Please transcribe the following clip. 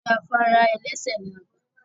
Orí afárá ẹlẹ́sẹ̀ ni a gbà